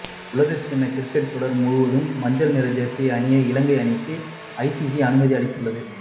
உலகக்கிண்ண கிரிக்கெட் தொடர் முழுவதும் மஞ்சள் நிற ஜெர்சியை அணிய இலங்கை அணிக்கு ஐசிசி அனுமதி அளித்துள்ளது